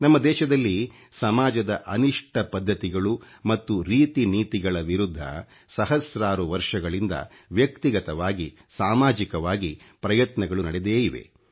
ನಮ್ಮ ದೇಶದಲ್ಲಿ ಸಮಾಜದ ಅನಿಷ್ಟ ಪದ್ಧತಿಗಳು ಮತ್ತು ರೀತಿ ನೀತಿಗಳ ವಿರುದ್ಧ ಸಹಸ್ರಾರು ವರ್ಷಗಳಿಂದ ವ್ಯಕ್ತಿಗತವಾಗಿ ಸಾಮಾಜಿಕವಾಗಿ ಪ್ರಯತ್ನಗಳು ನಡೆದೇ ಇವೆ